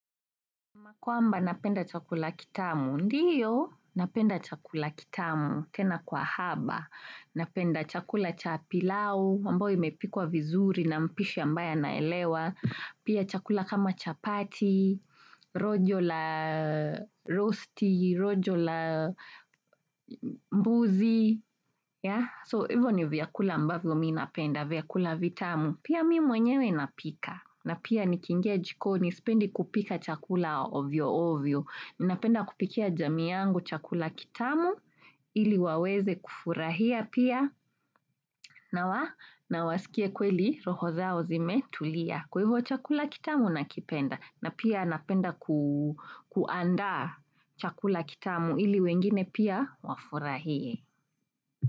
Ma kwamba napenda chakula kitamu. Ndiyo, napenda chakula kitamu tena kwa haba. Napenda chakula cha pilau, ambao imepikwa vizuri na mpishi ambaye anaelewa. Pia chakula kama chapati, rojo la rosti, rojo la mbuzi. So, hivyo ni viakula ambavyo mi napenda, viakula vitamu. Pia mi mwenyewe napika na pia nikiingia jikoni sipendi kupika chakula ovyo ovyo. Ninapenda kupikia jamii yangu chakula kitamu, ili waweze kufurahia pia nawasikie kweli roho zao zime tulia. Kwa hivyo chakula kitamu nakipenda, na pia napenda kuandaa chakula kitamu ili wengine pia, wafurahie.